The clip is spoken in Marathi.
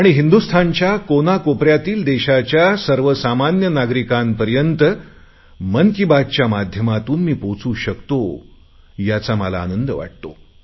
आणि हिंदुस्थानच्या कानाकोपऱ्यातील देशाच्या सर्वसामान्य नागरिकांपर्यंत मन की बात च्या माध्यमातून मी पोहचू शकतो याचा मला आनंद वाटतो